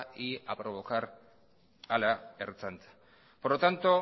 y a provocar a la ertzaintza por lo tanto